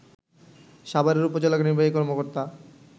সাভারের উপজেলা নির্বাহী কর্মকর্তা